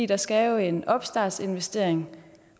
der skal jo en startinvestering